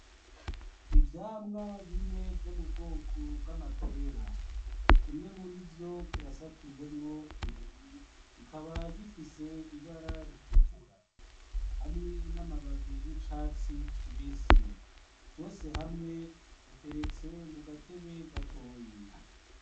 Ivyamwa bine vyo mu bwoko bw'amapera. Kimwe murivyo kirasatuyemwo kubiri, kikaba gifise ibara ritukura hamwe n'amababi y'icatsi kibisi. Vyose hamwe biteretse mu gatebe gatoyi.